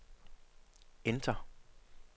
enter